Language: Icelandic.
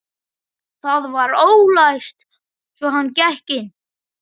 Það var ólæst svo hann gekk inn.